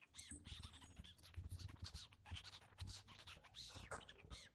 kaji eiko wifi enaa peyie kintobir, eton kigira aisumbuaa